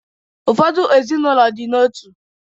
Ụfọdụ ezinụlọ dị n’otu